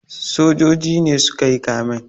Sojoji ne su ka yi kamen.